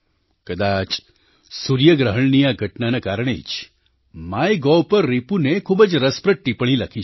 કદાચ સૂર્યગ્રહણની આ ઘટનાના કારણે જ માય ગોવ પર રિપુને ખૂબ જ રસપ્રદ ટીપ્પણી લખી છે